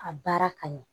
A baara ka ɲɛ